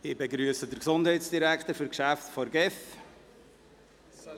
Ich begrüsse den Gesundheitsdirektor zu den Geschäften der GEF.